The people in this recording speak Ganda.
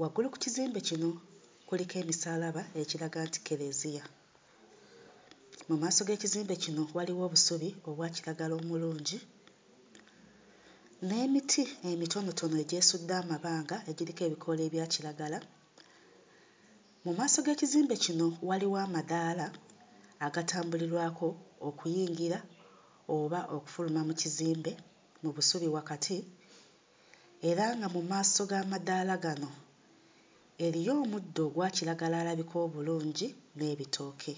Waggulu ku kizimbe kino kuliko emisaalaba ekiraga nti Kkereziya. Mu maaso g'ekizimbe kino waliwo obusubi obwakiragala omulungi n'emiti emitonotono egyesudde amabanga nga kuliko ebikoola ebyakiragala. Mu maaso g'ekizimbe kino waliwo amadaala agatambulirwako okuyingira oba okufuluma mu kizimbe mu busubi wakati era nga mu maaso g'amadaala gano eriyo omuddo ogwa kiragala alabika obulungi n'ebitooke.